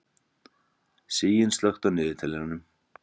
Sigyn, slökktu á niðurteljaranum.